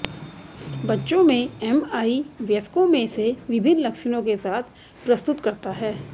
बच्चों में एमआई वयस्कों में से विभिन्न लक्षणों के साथ प्रस्तुत करता है